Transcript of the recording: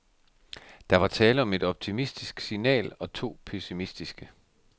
Der var tale om et optimistisk signal og to pessimistiske.